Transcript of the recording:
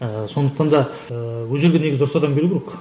ыыы сондықтанда ыыы ол жерге негізі дұрыс адамдар келуі керек